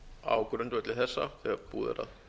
á grundvelli þessa þegar búið er að